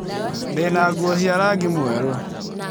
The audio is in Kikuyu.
Ndĩ na nguo cia rangi mwerũ.